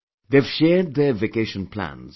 They have shared their vacation plans